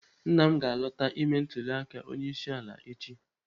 Nna m ga-alọta ime ntụliaka onyeisi ala echi.